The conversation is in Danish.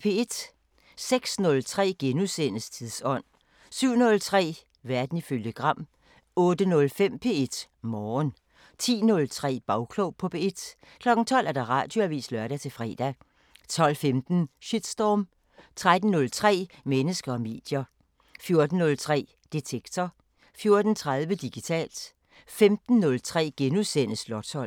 06:03: Tidsånd * 07:03: Verden ifølge Gram 08:05: P1 Morgen 10:03: Bagklog på P1 12:00: Radioavisen (lør-fre) 12:15: Shitstorm 13:03: Mennesker og medier 14:03: Detektor 14:30: Digitalt 15:03: Slotsholmen *